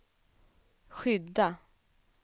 skydda